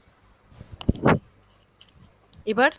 এবার?